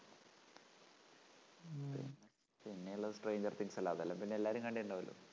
പിന്നെയുള്ളത് stranger things അല്ലേ? അതെല്ലാം പിന്നെയെല്ലാരും കണ്ടിട്ടുണ്ടാവൂല്ലോ